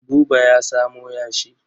Buba ya samo yashi.